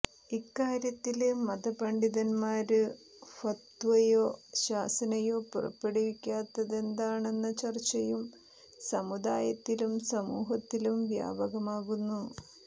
ഇക്കാര്യത്തില് മത പണ്ഡിതന്മാര് ഫത്വയോ ശാസനയോ പുറപ്പെടുവിക്കാത്തതെന്താണെന്ന ചര്ച്ചയും സമുദായത്തിലും സമൂഹത്തിലും വ്യാപകമാകുന്നു